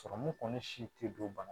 Sɔrɔmu kɔni si tɛ don bana